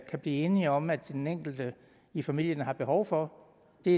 kan blive enige om at den enkelte i familien har behov for det